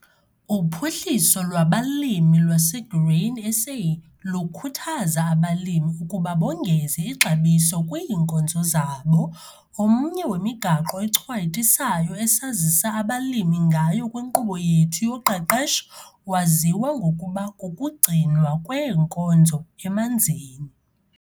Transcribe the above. UPHUHLISO LWABALIMI LWASEGRAIN SA LUKHUTHAZA ABALIMI UKUBA BONGEZE IXABISO KWIINKOZO ZABO. OMNYE WEMIGAQO ECHWAYITISAYO ESAZISA ABALIMI NGAYO KWINKQUBO YETHU YOQEQESHO WAZIWA NGOKUBA KUKUGCINWA KWEENKOZO EMANZINI.